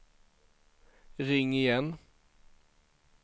ring igen